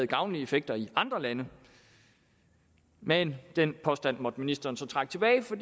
gavnlige effekter i andre lande men den påstand måtte ministeren så trække tilbage for